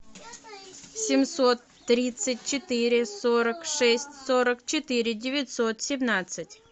семьсот тридцать четыре сорок шесть сорок четыре девятьсот семнадцать